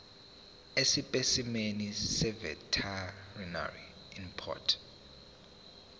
esipesimeni seveterinary import